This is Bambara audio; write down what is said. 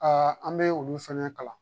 an bɛ olu fɛnɛ kalan